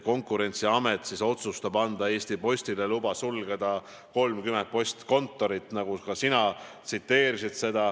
Konkurentsiamet on otsustanud anda Eesti Postile loa sulgeda 30 postkontorit, nagu ka sina viitasid.